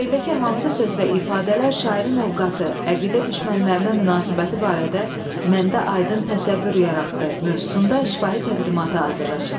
Şeirdəki hansı söz və ifadələr şairin ovqatı, əqidə düşmənlərinə münasibəti barədə məndə aydın təsəvvür yaratdı mövzusunda şifahi təqdimata hazırlayın.